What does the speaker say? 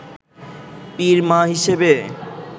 পীর মা হিসেবে